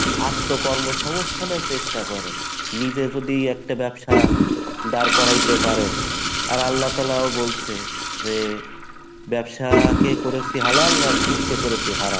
আত্মকর্মসংস্থান এর চেষ্টা করেন, নিজে যদি একটা ব্যবসা দাঁড় কড়াইতে পারেন, আর আল্লাহ তালাও বলছে যে ব্যবসা কে করেছি হালাল আর সুদ কে করেছি হারাম